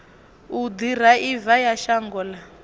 u ḓiraiva ya shango ḽa